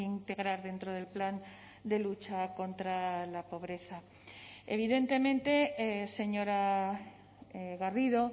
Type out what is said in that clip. integrar dentro del plan de lucha contra la pobreza evidentemente señora garrido